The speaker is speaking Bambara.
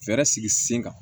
Fɛɛrɛ sigi sen kan